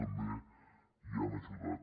també hi han ajudat